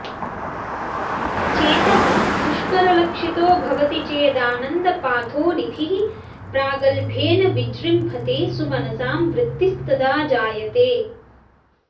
चेतः पुष्करलक्षितो भवति चेदानन्दपाथोनिधिः प्रागल्भ्येन विजृम्भते सुमनसां वृत्तिस्तदा जायते